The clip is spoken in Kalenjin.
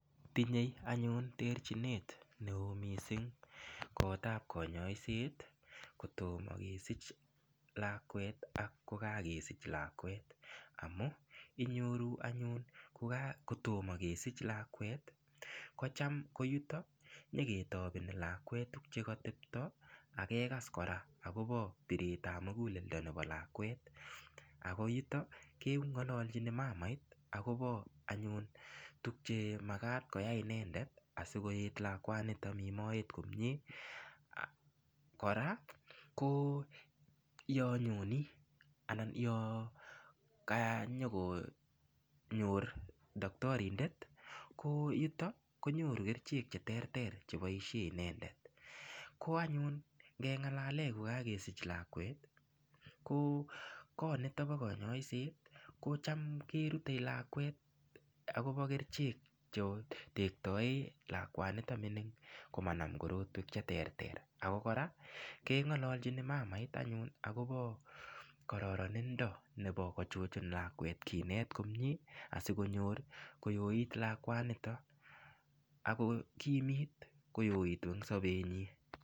Tinyei anyun terchinet neo mising koot ap konyoiset kotomo kesich lakwet ak kokakesich lakwet amu inyoru anyun kotomokesich lakwet kocham ko yutok ko nyeketopeni lakwet tukchekatepto akekas kora akopo biret ap muguleldo nepo lakwet ako yuto keng'ololchini mamait akopo anyun tukche makat koyai inendet asikonet lakwanoto mi moet komie kora ko yonyoni anan yo kanyokonyor daktarindet ko yuto konyoru kerchek che terter cheboishe inendet ko anyun ngengalale kokakesich lakwet ko koot nito bo konyoiset ko cham kerutei lakwet akobo kerchek chetektoe lakwanito mining komanam korotwek che ter ter ako kora keng'ololchini mamait anyun akopo korononindo nebo kochuchun lakwet kinet komie asikonyor koyoit lakwanita ako kimit koyoitu ing sobetnyi.